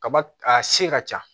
Kaba a se ka ca